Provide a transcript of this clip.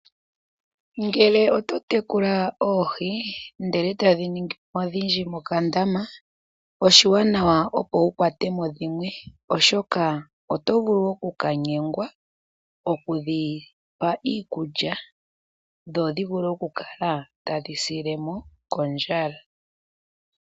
Ngele oto tekula oohi ndele etadhi ningi odhindji mokandama oshiwanawa opo wu kwate mo dhimwe. Oshoka oto vulu oku kanyengwa oku kapa iikulya dho dhi vule oku kala tadhi sile mo kondjala.